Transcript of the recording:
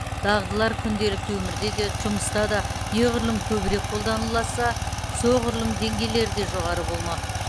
дағдылар күнделікті өмірде де жұмыста да неғұрлым көбірек қолданыласа соғұрлым деңгейлері де жоғары болмақ